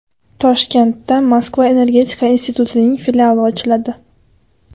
Toshkentda Moskva energetika institutining filiali ochiladi.